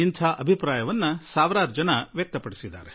ಇದೇ ರೀತಿಯ ಭಾವನೆಯನ್ನು ಸಾವಿರಾರು ಜನ ವ್ಯಕ್ತಪಡಿಸಿದ್ದಾರೆ